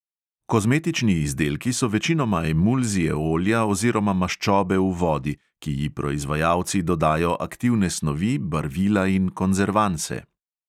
Kozmetični izdelki so večinoma emulzije olja oziroma maščobe v vodi, ki ji proizvajalci dodajo aktivne snovi, barvila in konzervanse.